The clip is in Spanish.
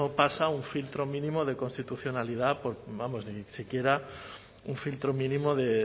pasa un filtro mínimo de constitucionalidad por vamos ni siquiera un filtro mínimo de